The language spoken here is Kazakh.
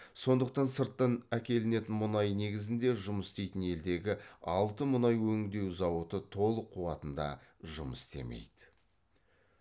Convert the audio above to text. сондықтан сырттан әкелінетін мұнай негізінде жұмыс істейтін елдегі алты мұнай өндеу зауыты толық қуатында жұмыс істемейді